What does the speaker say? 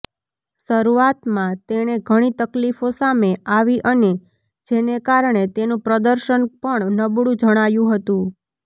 શરૂઆતમાં તેણે ઘણી તકલીફો સામે આવી અને જેને કારણે તેનું પ્રદર્શન પણ નબળું જણાયું હતું